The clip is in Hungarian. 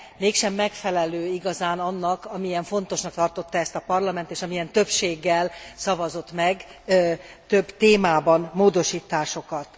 mégsem megfelelő igazán annak, amilyen fontosnak tartotta ezt a Parlament és amilyen többséggel szavazott meg több témában módosításokat.